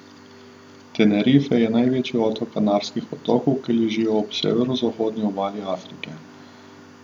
Tenerife je največji otok Kanarskih otokov, ki ležijo ob severozahodni obali Afrike.